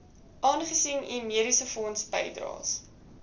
aangesien u mediesefondsbydraes